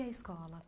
E a escola?